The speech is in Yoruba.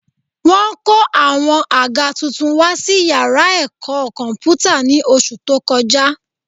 Wọ́n kó àwọn àga tuntun wá sí yàrá ẹ̀kọ́ kọ̀m̀pútà ní oṣù tó kọjá